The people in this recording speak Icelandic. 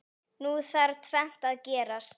Nú þarf tvennt að gerast.